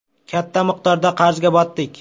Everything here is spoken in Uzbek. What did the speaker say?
Katta miqdorda qarzga botdik.